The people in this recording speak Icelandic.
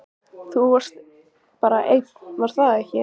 Þú varst bara einn, var það ekki?